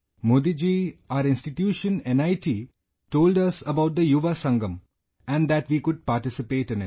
Modi ji, Our institution NIT told us about the Yuva Sangam and that we couldparticipate in it